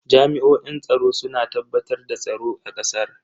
Jami'oin tsaro suna tabbatar da tsaro a kasar.